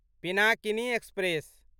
Pinakini express